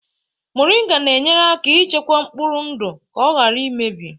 Moringa na-enyere aka ichekwa mkpụrụ ndụ ka ọ ghara imebi